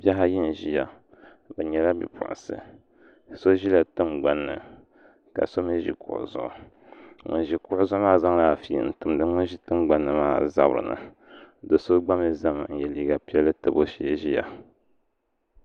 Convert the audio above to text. Bihi ayi n ʒiya bi nyɛla bipuɣunsi so ʒila tingbanni ka so mii ʒi kuɣu zuɣu ŋun ʒi kuɣu zuɣu maa zaŋla afi n timdi ŋun ʒi tingbanni maa zabiri ni do so gba mii ʒɛmi n yɛ liiga piɛlli tabi o shee ʒiya